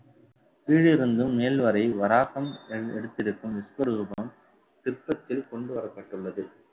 கீழிருந்தும் மேல் வரை வராகம் எ~ எடுத்திருக்கும் விஸ்வரூபம் சிற்பத்தில் கொண்டுவரப்பட்டுள்ளது